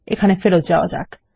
এখানে ফেরত যাওয়া যাক